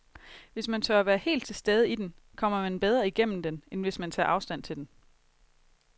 Hvis man tør være helt til stede i den, kommer man bedre igennem den, end hvis man tager afstand til den.